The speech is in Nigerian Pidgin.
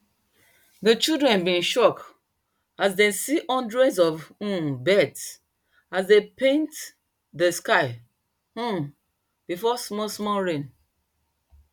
dey children been shock as dem see hundreds of um birds as dem paint dey sky um before small small rain